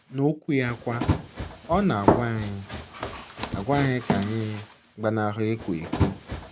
N’Okwu ya kwa, ọ na - agwa anyị - agwa anyị ka anyị gbanahụ ịkwa iko.